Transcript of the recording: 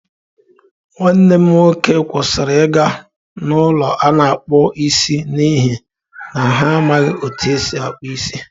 Nwanne m nwoke kwụsịrị ịga n’ụlọ a na-akpụ isi n’ihi na ha amaghị otú e si akpụ isi.